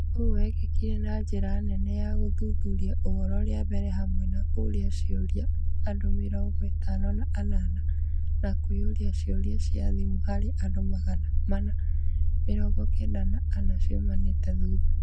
ũũ wekĩkire na njĩra nene na gũthuthuria ũhoro rĩa mbere hamwe na kũũria ciũria andu mĩrongo-ĩtano na anana na kũihũria ciũria cia thimũ harĩ andũ magana mana mĩrongokenda na ana ciumanĩte thutha.